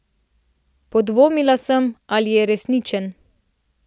Podvomila sem, ali je resničen.